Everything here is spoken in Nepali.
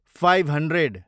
five hundred